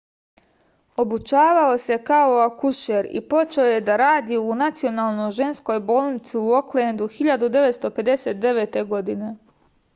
obučavao se kao akušer i počeo je da radi u nacionalnoj ženskoj bolnici u oklendu 1959. godine